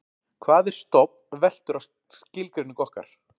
hvað er stofn veltur á skilgreiningu okkar